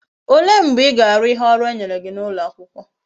Ole mgbe íga Aru ihe oru enyere gi na ulo akwukwo?